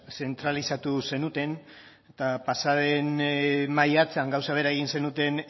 zentralizatu zenuten eta pasa den maiatzean gauza bera egin zenuten